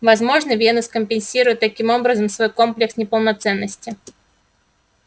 возможно венус компенсирует таким образом свой комплекс неполноценности